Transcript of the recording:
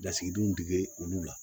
Lasigidenw dege olu la